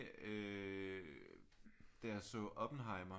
Øh da jeg så Oppenheimer